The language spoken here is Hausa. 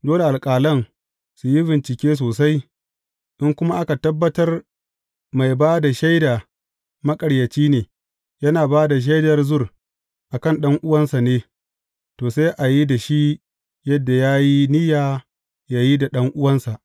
Dole alƙalan su yi bincike sosai, in kuma aka tabbatar mai ba da shaida maƙaryaci ne, yana ba da shaidar zur a kan ɗan’uwansa ne, to, sai a yi da shi yadda ya yi niyya yă yi da ɗan’uwansa.